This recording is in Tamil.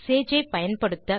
சேஜ் ஐ பயன்படுத்த